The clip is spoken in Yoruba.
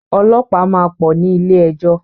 Ọlọ́pàá máa pọ̀ ní ilé-ejọ́.